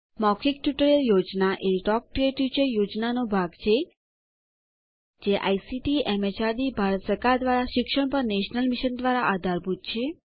મૌખિક tutorial project A talk to a teacher પ્રોજેક્ટનો ભાગ છે જે આઇસીટીએમએચઆરડીભારત સરકાર દ્વારા શિક્ષણ પર નેશનલ મિશન દ્વારા આધારભૂત છે